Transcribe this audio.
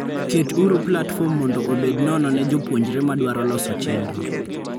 Ket uru platform mondo obed nono ne jopuonjre madwaro loso chendro.